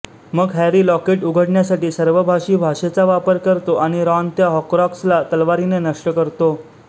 मग Harry locket उघडण्यासाठी सर्पभाषी भाषेचा वापर करतो आणि रॉन त्या हॉर्क्राक्सला तलवारीने नष्ट करतो